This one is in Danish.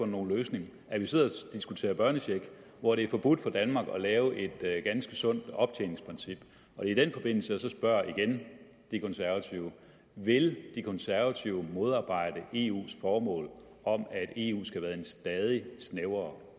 nogen løsning at vi sidder og diskuterer børnecheck og at det er forbudt for danmark at lave et ganske sundt optjeningsprincip i den forbindelse spørger jeg igen de konservative vil de konservative modarbejde eus formål om at eu skal være en stadig snævrere